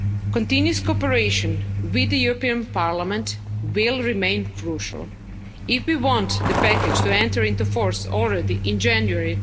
Continuous cooperation with the European Parliament will remain crucial if we want the package to enter into force already in January